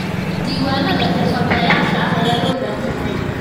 Diiwaanada xirfadlayaasha ah ayaa loo baahan yahay.